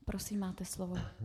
Prosím, máte slovo.